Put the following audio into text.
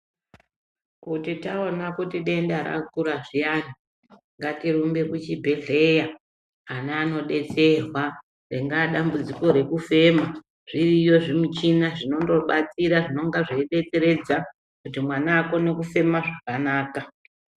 Kuti taona kuti denda rakura zviyana ngatirumbe kuchibhedhlera ana anobetserwa ringaa dambudziko rekufema zviriyo zvimichina zvinondobatsira zvinonga zveibetseredza kuti mwana akone kufema zvakanaka .